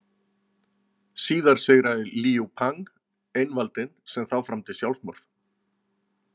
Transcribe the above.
Síðar sigraði Líú Pang einvaldinn sem þá framdi sjálfsmorð.